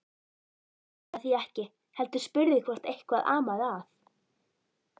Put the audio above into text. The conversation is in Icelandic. Hann svaraði því ekki heldur spurði hvort eitthvað amaði að.